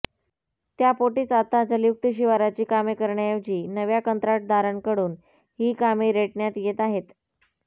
त्यापोटीच आता जलयुक्त शिवाराची कामे करण्याऐवजी नव्या कंत्राटदारांकडून ही कामे रेटण्यात येत आहेत